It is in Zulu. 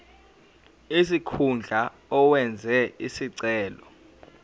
sikhundla owenze isicelo